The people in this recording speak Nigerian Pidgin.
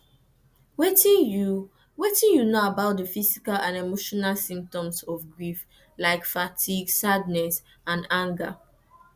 wetin you wetin you know about di physical and emotional symptoms of grief like fatigue sadness and anger